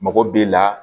Mɔgɔ b'e la